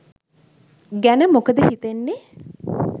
ගැන මොකද හිතන්නේ.